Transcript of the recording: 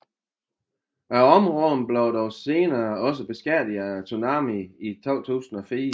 Området blev dog senere også beskadiget af tsunamien i 2004